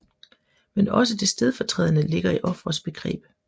Men også det stedfortrædende ligger i ofrets begreb